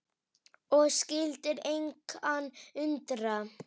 Og skyldi engan undra.